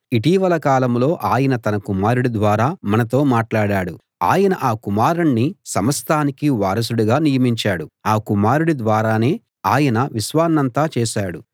ఇటీవలి కాలంలో ఆయన తన కుమారుడి ద్వారా మనతో మాట్లాడాడు ఆయన ఆ కుమారుణ్ణి సమస్తానికీ వారసుడిగా నియమించాడు ఆ కుమారుడి ద్వారానే ఆయన విశ్వాన్నంతా చేశాడు